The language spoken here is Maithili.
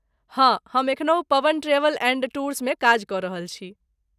हँ, हम एखनहु पवन ट्रैवेल एंड टूर्समे काज कऽ रहल छी।